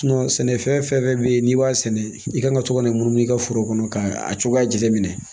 sɛnɛfɛn fɛn fɛn bɛ yen n'i b'a sɛnɛ i kan ka to ka na munumunu i ka foro kɔnɔ k'a cogoya jate minɛ